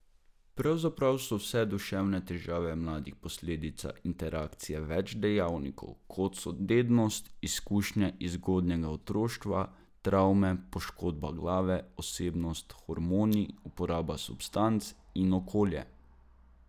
Pravzaprav so vse duševne težave mladih posledica interakcije več dejavnikov, kot so dednost, izkušnje iz zgodnjega otroštva, travme, poškodba glave, osebnost, hormoni, uporaba substanc in okolje.